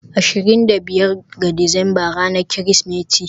ashirin da biyar ga Disamba ranar Kirsimeti.